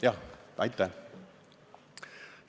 Aitäh!